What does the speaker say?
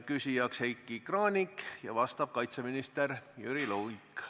Küsija on Heiki Kranich ja vastab kaitseminister Jüri Luik.